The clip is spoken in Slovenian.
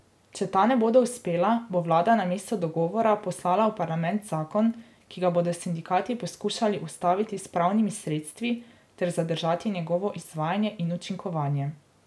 Če ta ne bodo uspela, bo vlada namesto dogovora poslala v parlament zakon, ki ga bodo sindikati poskušali ustaviti s pravnimi sredstvi ter zadržati njegovo izvajanje in učinkovanje.